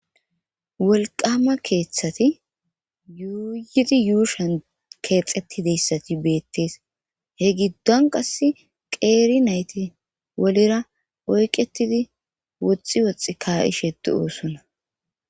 Wolqqama keeththati yuuyidi yuushan keexetii dizayssati beettees he giddon qase qeeri nayti wolira oyqettidi woxxi woxxi ka'ishe doosona